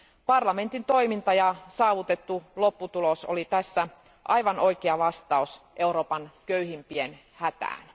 Parlamentin toiminta ja saavutettu lopputulos oli tässä aivan oikea vastaus Euroopan köyhimpien hätään.